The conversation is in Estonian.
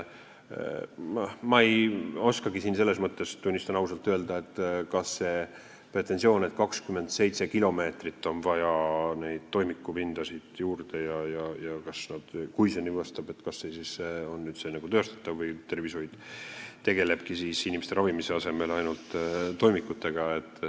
Ma ei oskagi siin selles mõttes, tunnistan ausalt, hinnata seda pretensiooni, et 27 kilomeetrit on neid toimikupindasid juurde vaja, ja kui see nii on, kas see on üldse teostatav või tervishoid tegelebki siis inimeste ravimise asemel ainult toimikutega.